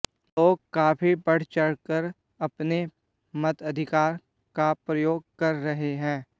लोग काफी बढ़चढ़कर अपने मताधिकार का प्रयोग कर रहे हैं